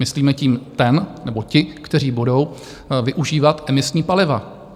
Myslíme tím ten nebo ti, kteří budou využívat emisní paliva.